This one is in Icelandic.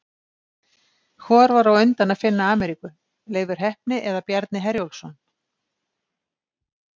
Hvor var á undan að finna Ameríku, Leifur heppni eða Bjarni Herjólfsson?